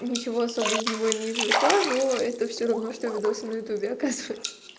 ничего особо из него и не извлекла но это все равно что видосы на ютюбе оказывается